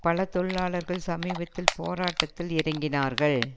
பல தொழிலாளர்கள் சமீபத்தில் போராட்டத்தில் இறங்கினார்கள்